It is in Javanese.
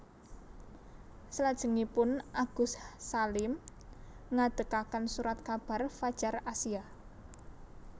Selajengipun Agus Salim ngadegaken Surat kabar Fadjar Asia